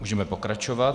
Můžeme pokračovat.